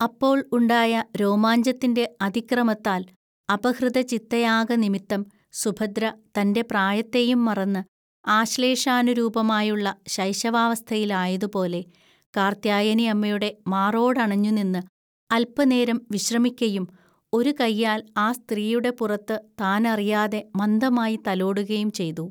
അപ്പോൾ ഉണ്ടായ രോമാഞ്ചത്തിൻ്റെ അതിക്രമത്താൽ അപഹൃതചിത്തയാകനിമിത്തം, സുഭദ്ര തൻ്റെ പ്രായത്തെയും മറന്ന്, ആശ്ലേഷാനുരൂപമായുള്ള ശൈശവാസ്ഥയിൽ ആയതുപോലെ കാർത്യായനിഅമ്മയുടെ മാറോടണഞ്ഞുനിന്ന് അൽപനേരം വിശ്രമിക്കയും, ഒരു കൈയാൽ ആ സ്ത്രീയുടെ പുറത്തു താനറിയാതെ മന്ദമായി തലോടുകയും ചെയ്തു